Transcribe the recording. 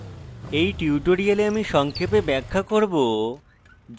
in tutorial আমি সংক্ষেপে ব্যাখ্যা করব: